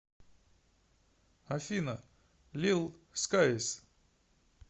афина лил скайс